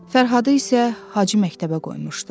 Fərhadı isə Hacı məktəbə qoymuşdu.